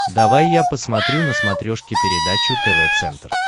давай я посмотрю на смотрешке передачу тв центр